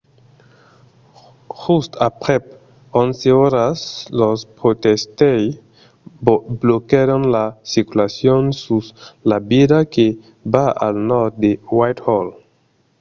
just aprèp 11 oras los protestaires bloquèron la circulacion sus la via que va al nòrd a whitehall